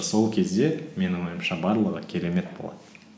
сол кезде менің ойымша барлығы керемет болады